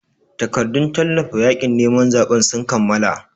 Takardun tallata yaƙin neman zaɓen sun kammala.